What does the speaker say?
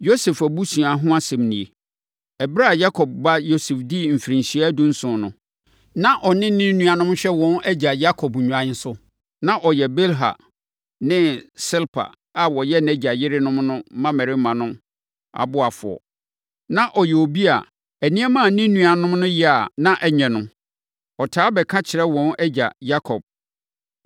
Yosef abusua ho asɛm nie: Ɛberɛ a Yakob ba Yosef dii mfirinhyia dunson no, na ɔne ne nuanom hwɛ wɔn agya Yakob nnwan so. Na ɔyɛ Bilha ne Silpa a wɔyɛ nʼagya yerenom no mmammarima no ɔboafoɔ. Na ɔyɛ obi a nneɛma a ne nuanom no yɛ a ɛnyɛ no, ɔtaa bɛka kyerɛ wɔn agya Yakob.